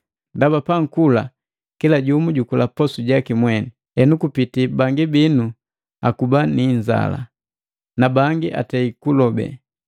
Ndaba pankula kila jumu jukula posu jaki mweni, henu kupiti bangi binu akuba ni inzala, nabangi atei kulobe!